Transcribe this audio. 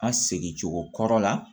An segin cogo kɔrɔ la